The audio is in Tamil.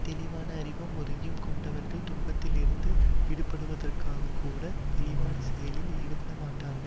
தெளிவான அறிவும் உறுதியும் கொண்டவர்கள் துன்பத்திலிருந்து விடுபடுவதற்காகக்கூட இழிவான செயலில் ஈடுபட மாட்டார்கள்